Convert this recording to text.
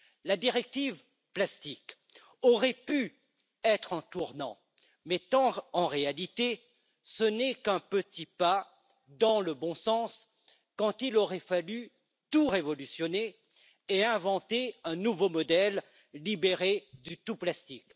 La directive plastique aurait pu être un tournant mais ce n'est, en réalité, qu'un petit pas dans le bon sens alors qu'il aurait fallu tout révolutionner et inventer un nouveau modèle, libéré du tout plastique.